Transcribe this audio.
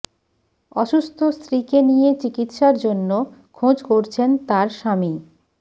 অসুস্থ স্ত্রীকে নিয়ে চিকিৎসার জন্য খোঁজ করছেন তাঁর স্বামী